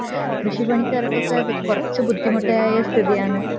കൃഷിക്കാർക്കൊക്കെ കൊറച്ച് ബുദ്ധിമുട്ട് ആയ സമയം ആണ്